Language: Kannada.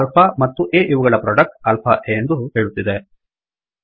ಈಗ ಆಲ್ಫಾ ಮತ್ತು a ಇವುಗಳ ಪ್ರೊಡಕ್ಟ್ ಆಲ್ಫಾ a ಎಂದು ಹೇಳುತ್ತಿದೆ